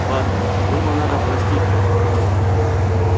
ладно думаю надо простить парня